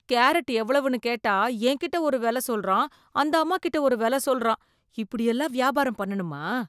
Carrot எவ்வளவுன்னு கேட்டா என்கிட்ட ஒரு வெல சொல்றான் அந்த அம்மா கிட்ட ஒரு வெல சொல்றான், இப்படி எல்லாம் வியாபாரம் பண்ணனுமா?